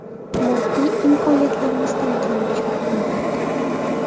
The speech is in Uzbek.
Moddiy imkoniyatlarimizdan kelib chiqib, albatta.